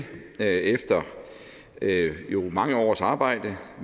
efter mange års arbejde